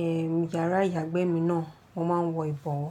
eh, yàrá ìyàgbẹ́ mi náà, mo máa ń wọ ìbọ̀wọ́.